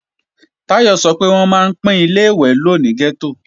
Táyọ̀ sọ pé wọ́n máa ń pín Ilé-ìwẹ̀ lò ní gẹ́tò ni